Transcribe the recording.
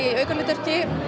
aukahlutverk